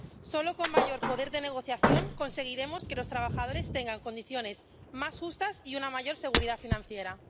Solo con mayor poder de negociación conseguiremos que los trabajadores tengan condiciones más justas y una mayor seguridad financiera.